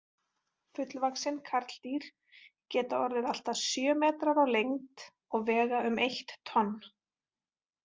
Fullvaxin karldýr geta orðið allt að sjö metrar á lengd og vega um eitt tonn.